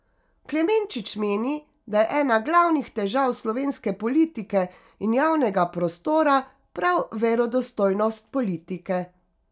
Klemenčič meni, da je ena glavnih težav slovenske politike in javnega prostora prav verodostojnost politike.